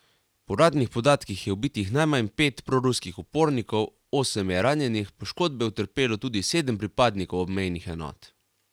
Po uradnih podatkih je ubitih najmanj pet proruskih upornikov, osem je ranjenih, poškodbe je utrpelo tudi sedem pripadnikov obmejnih enot.